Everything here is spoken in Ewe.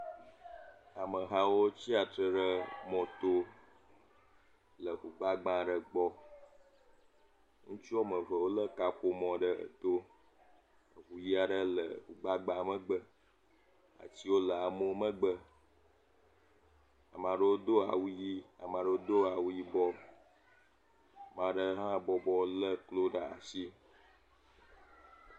Amehawo tsiatre ɖe moto le ʋu gbagba aɖe gbɔ. Ŋutsu woame eve wole kaƒomɔ ɖe eto. Ŋutsuvi aɖe le eʋu gbagba megbe. Etsiwo le wò megbe. Ame aɖewo do awu ɣi. Ame aɖewo do awu yibɔ. Ame aɖe hã bɔbɔ le klo ɖe asi.